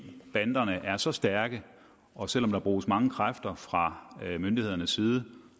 banderne er så stærke og selv om der bruges mange kræfter fra myndighedernes side